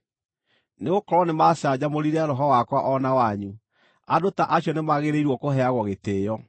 Nĩgũkorwo nĩmacanjamũrire roho wakwa o na wanyu. Andũ ta acio nĩmagĩrĩirwo kũheagwo gĩtĩĩo.